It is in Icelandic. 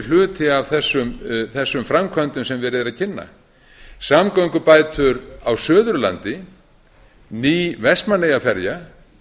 hluti af þessum framkvæmdum sem verið er að kynna samgöngubætur á suðurlandi ný vestmannaeyjaferja